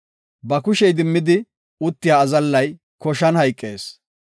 Ba kushe idimmidi uttiya azallay koshan hayqees.